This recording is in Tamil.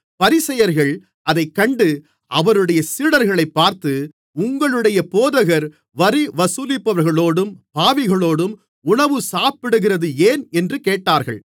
பரிசேயர்கள் அதைக் கண்டு அவருடைய சீடர்களைப் பார்த்து உங்களுடைய போதகர் வரி வசூலிப்பவர்களோடும் பாவிகளோடும் உணவு சாப்பிடுகிறது ஏன் என்று கேட்டார்கள்